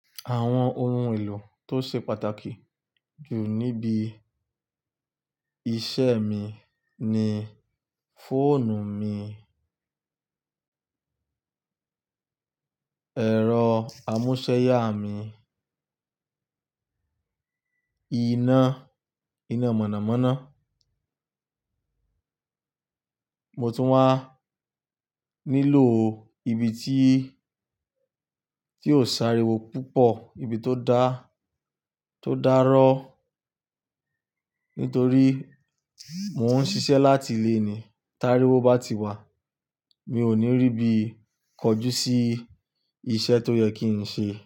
Àwọn ohun èlò tó ṣe pàtàkì jù níbi iṣẹ́ mi ni fóònù mi, ẹ̀rọ amúsẹ́yá mi, iná, iná mọ̀nàmọ́ná. Mo tún wá nílò ibi tí, tí ó sáré wo púpọ̀, ibi tó dá, tó dárọ́. Nítorí mò ń ṣiṣẹ́ láti ilé ni. Tá rí wó bá ti wá, mi ò ní rí bí kọjú sí iṣẹ́ tó yẹ kí n ṣe.